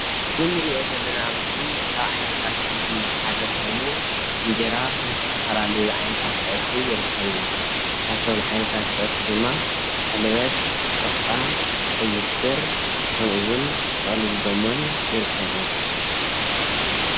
እዚ እንሪኦ ዘለና ምስሊ ካብ ዓይነታት ምግቢ ሓደ ኮይኑ እንጀራ ምስተፈላለዩ ዓይነታት ፀብሒ ይርከብዎ፡፡ ከብቶም ዓይነታት ፀብሒ ድማ ሕልበት፣ ቆስጣ፣ ቀይሕ ስር ከምኡ እውን ጥቅልል ጎመን ይርከብዎ፡፡